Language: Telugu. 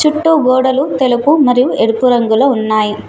చుట్టూ గోడలు తెలుపు మరియు ఎరుపు రంగులో ఉన్నాయి.